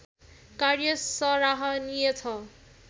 कार्य सराहनीय छ